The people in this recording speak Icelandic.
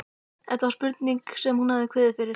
Þetta var spurningin sem hún hafði kviðið fyrir.